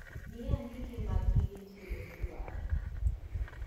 Mia andike mag gige tedo midwaro